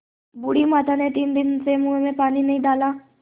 बूढ़ी माता ने तीन दिन से मुँह में पानी नहीं डाला